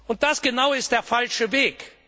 Und das genau ist der falsche Weg!